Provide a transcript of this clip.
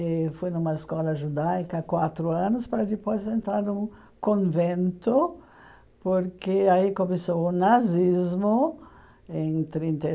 E fui numa escola judaica há quatro anos para depois entrar num convento, porque aí começou o nazismo, em trinta e